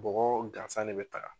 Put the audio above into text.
Bɔgɔ gansan de be taga